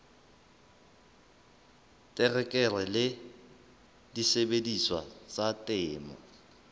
terekere le disebediswa tsa temo